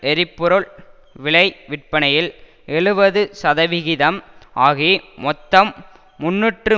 எரிபொருள் விலை விற்பனையில் எழுபது சதவிகிதம் ஆகி மொத்தம் முன்னூற்று